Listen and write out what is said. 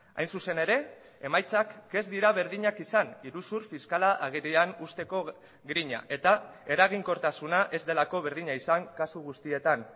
hain zuzen ere emaitzak ez dira berdinak izan iruzur fiskala agerian uzteko grina eta eraginkortasuna ez delako berdina izan kasu guztietan